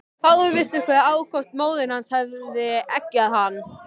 Fáir vissu hve ákaft móðir hans hafði eggjað hann.